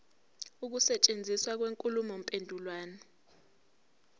ukusetshenziswa kwenkulumo mpendulwano